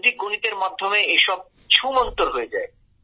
বৈদিক গণিতের মাধ্যমে এসব ছুমন্তর হয়ে যায়